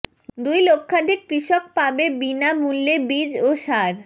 দুই লক্ষাধিক কৃষক পাবে বিনা মূল্যে বীজ ও সার